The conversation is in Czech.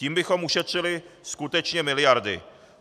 Tím bychom ušetřili skutečně miliardy.